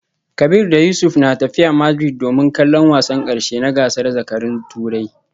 Kabir da Yusuf na tafiya Madrid domin kallon wasan karshe na gasar zakarun Turai